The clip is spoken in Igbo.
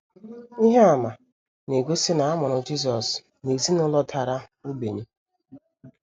Ihe àmà na - egosi na a mụrụ Jisọs n’ezinụlọ dara ogbenye.